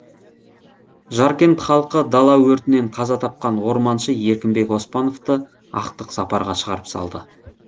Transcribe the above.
жаркент халқы дала өртінен қаза тапқан орманшы еркінбек оспановты ақтық сапарға шығарып салды